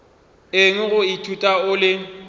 eng go ithuta o le